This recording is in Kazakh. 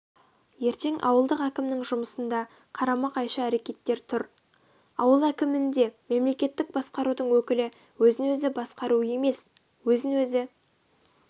ертең ауылдық әкімнің жұмысында қарама-қайшы әрекеттер тұр ауыл әкімінде мемлекеттік басқарудың өкілі өзін-өзі басқару емес өзін-өзі